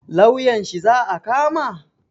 Lauyan shi za a kama?